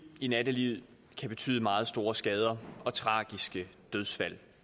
i nattelivet kan betyde meget store skader og tragiske dødsfald